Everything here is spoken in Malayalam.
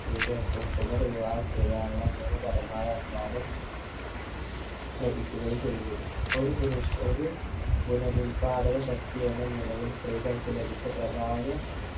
സ്ത്രീകൾക്കും പുനർ വിവാഹം ചെയ്യാനുള്ള നിയമ പരമായ അനുവാദം ലഭിക്കുകയും ചെയ്തു ഒരു പുനഷ്‌ ഒരു പുനരുൽപാദക ശക്തി എന്ന നിലയിൽ സ്ത്രീകൾക്കു ലഭിച്ച പ്രാധാന്യ